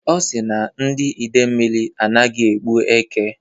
Ọ si na ndị Idemili anaghị egbu èkè.